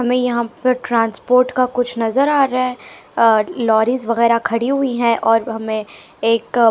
हमें यहां पर ट्रांसपोर्ट का कुछ नजर आ रहा है अ लॉरीज वगैरह खड़ी हुई है और ब हमें एक --